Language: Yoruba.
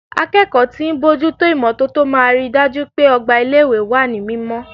Akẹ́kọ̀ọ́ tí ń bójú tó imọ́tótó máa ri dájú pé ọgbà ilé ìwé wà ní mímọ́.